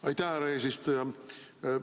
Aitäh, härra eesistuja!